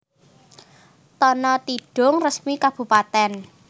Tana Tidung Resmi Kabupatèn